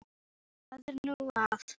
Hana nú, hvað er nú að.